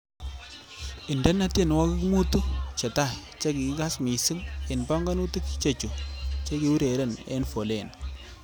Indenee tienwokik motu chetai chekikass mising' eng banganutik chechu chekiureren eng foleni